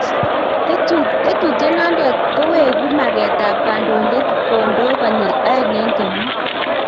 Tetutiet nandet koweku maket ab kandoindet kondo konyil aeng en kenyit